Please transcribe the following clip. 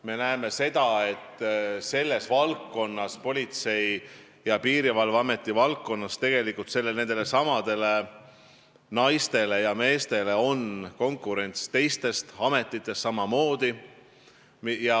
Me näeme seda, et selles valdkonnas, Politsei- ja Piirivalveameti valdkonnas, konkureerivad nendesamade naiste ja meeste pärast samamoodi ka teised ametid.